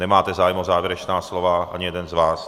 Nemáte zájem o závěrečná slova, ani jeden z vás.